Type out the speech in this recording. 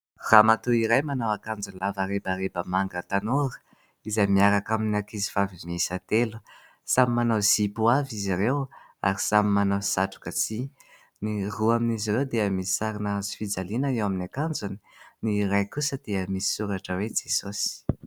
Ramatoa iray manao akanjo lava rebareba manga tanora? izay miaraka amin'ny ankizivavy miisa telo? samy manao zipo avy izy ireo ary samy manao satroka tsihy, ny roa amin'izy ireo dia misy sarina hazofijaliana eo amin'ny akanjony, ny iray kosa dia misy soratra hoe Jesosy.